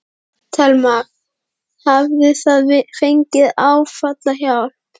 Telma: Hafið þið fengið áfallahjálp?